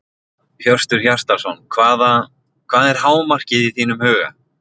Hjörtur Hjartarson: Hvaða, hvað er hámarkið í þínum huga?